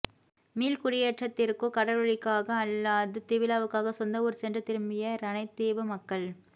மீள்குடியேற்றத்திற்கோ கடற்றொழிலுக்காக அல்லாது திருவிழாவுக்காக சொந்த ஊர் சென்று திரும்பிய இரணைதீவு மக்கள்